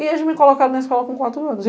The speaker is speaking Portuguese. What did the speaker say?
E eles me colocaram na escola com quatro anos.